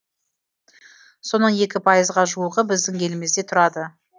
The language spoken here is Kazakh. соның екі пайызға жуығы біздің елімізде тұрады